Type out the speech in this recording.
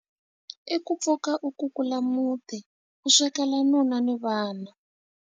I ku pfuka u kukula muti, u swekela nuna ni vana.